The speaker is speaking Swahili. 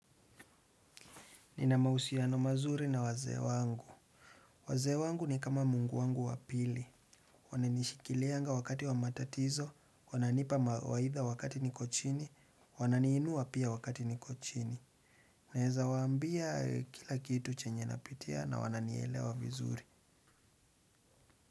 Nina mahusiano mazuri na wazee wangu. Wazee wangu ni kama mungu wangu wapili. Wananishikilianga wakati wa matatizo, wananipa mawaidha wakati niko chini, wananiinua pia wakati niko chini. Unaezawaambia kila kitu chenye napitia na wananielewa vizuri.